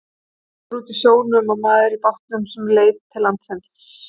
Það var bátur úti á sjónum og maður í bátnum sem leit til lands.